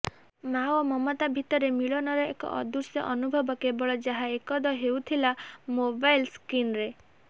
ମାଆ ଓ ମମତା ଭିତରେ ମିଳନର ଏକ ଅଦୃଶ୍ୟ ଅନୁଭବ କେବଳ ଯାହା କଏଦ ହେଉଥିଲା ମୋବାଇଲ୍ ସ୍କ୍ରିନ୍ରେ